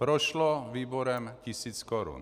Prošlo výborem tisíc korun.